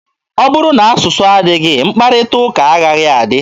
Ọ bụrụ na asụsụ adịghị, mkparịta ụka agaghị adị.